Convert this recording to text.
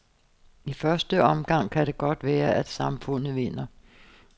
I første omgang kan det godt være, at samfundet vinder.